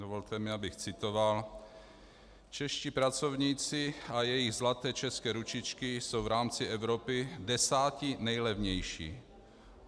Dovolte mi, abych citoval: Čeští pracovníci a jejich zlaté české ručičky jsou v rámci Evropy desátí nejlevnější.